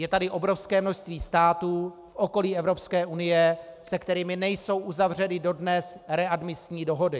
Je tady obrovské množství států v okolí Evropské unie, se kterými nejsou uzavřeny dodnes readmisní dohody.